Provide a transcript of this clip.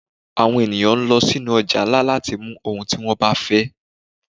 Àwọn eníyan lọ sí nú ojà ńlá latí mú ohún tí wón ba fẹ